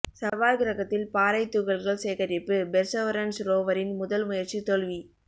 செவ்வாய் கிரகத்தில் பாறை துகள்கள் சேகரிப்பு பெர்சவரன்ஸ் ரோவரின் முதல் முயற்சி தோல்வி